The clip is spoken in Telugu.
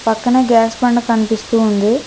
పక్కన గ్యాస్ బండ కనిపిస్తూ ఉంది.